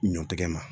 Ɲɔtigɛ ma